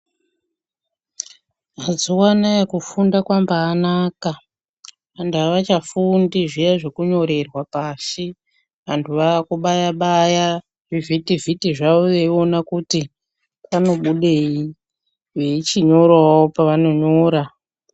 Mazuwa anaya kufunda kwambanaka antu avachafundi zviya zvekunyorerwa pashi antu ava kubaya baya zvivhitivhiti zvavo vachiona kuti panobudei vechinyorawo pavanonyora .